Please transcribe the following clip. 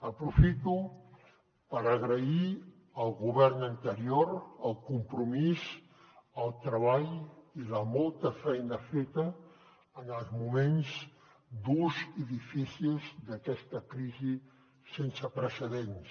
aprofito per agrair al govern anterior el compromís el treball i la molta feina feta en els moments durs i difícils d’aquesta crisi sense precedents